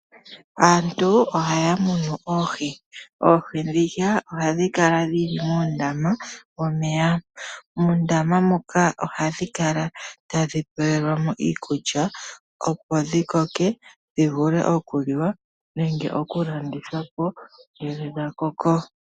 Aantu ohaya munu oohi. Oohi ndhika ohadhi kala dhili muundama womeya. Muundama muka ihadhi kala tadhi pelwamo iikulya opo dhikoke dhivule okuliwa nenge okulandithwa ngele dha koko.